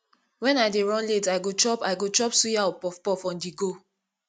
when i dey run late i go chop i go chop suya or puffpuff onthego